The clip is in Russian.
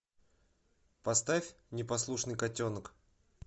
поставь непослушный котенок